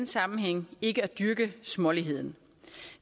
sammenhæng ikke at dyrke småligheden